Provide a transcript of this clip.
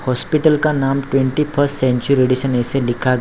hospital का नाम twenty first century radiation ऐसा लिखा --